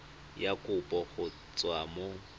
ya kopo go tswa mo